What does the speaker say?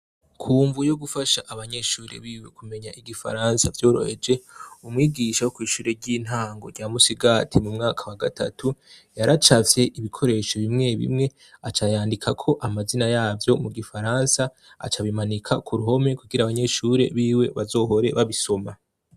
kumvo yogufasha abanyeshuri biwe kumenya igifaransa vyoroheje umwigisha wo kw'shure ry'intango rya Musigati mu mwaka wa gatatu yaracafye ibikoresho bimwe bimwe acayandika ko amazina yavyo mu gifaransa aca bimanika ku ruhome kugira abanyeshuri biwe bazohore babisoma.